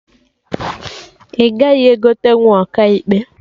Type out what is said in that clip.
Ị gaghị egotenwu Ọkaikpe!